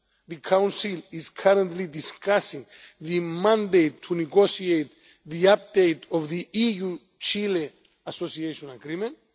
The Council is currently discussing the mandate to negotiate the update of the EU Chile Association Agreement.